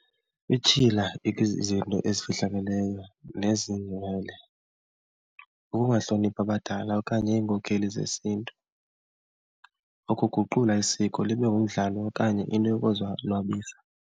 Ity hila izinto ezifihlakeleyo , ukungahloniphi abadala okanye iinkokheli zesiNtu, ukuguqula isiko libe ngumdlalo okanye into yokuzonwabisa.